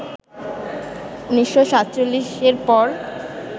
১৯৪৭-এর পর